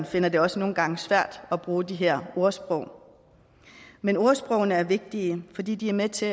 finder det også nogle gange svært at bruge de her ordsprog men ordsprogene er vigtige fordi de er med til